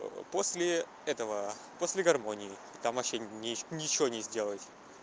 после этого после гармонии там вообще ничего не сделать